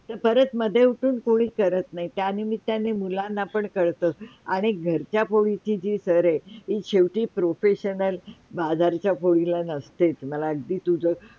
परत मधे उठून कुणीच करत नाही त्यां निमित्ताने मुलांना पण कळतं अन एक घरच्या पोळीची जी सरय ती शेवटी Professional बाजारच्या पोळीला नसते मला अगदी तुझ.